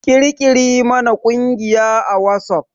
Ƙirƙiri mana ƙungiya a WhatsApp!